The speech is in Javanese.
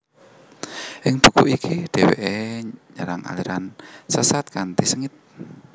Ing buku iki dheweke nyerang aliran sesat kanthi sengit